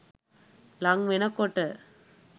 ළං වෙන කොට